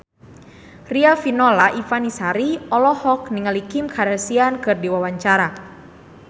Riafinola Ifani Sari olohok ningali Kim Kardashian keur diwawancara